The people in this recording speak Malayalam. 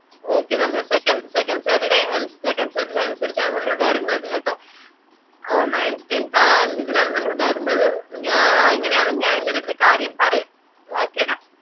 okey നമ്മൾ secondsecond saturdaysecond saturday അനുസരിച്ചാണ് നമ്മൾ വേർന്നത് കേട്ടോ ഓ ninethtenth ആ രീതിലാണ് നമ്മളവരുന്നത് ഞാ ഇങ്ങനെണേൽ ഞാൻ ഇന്റെടുത് കാര്യം പറയാം